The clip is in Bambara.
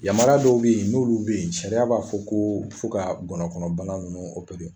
Yamaruya dɔw bɛ yen, n'olu bɛ yen ,sariya b'a fɔ ko fɔ ka gɔnɔkɔnɔ bana ninnu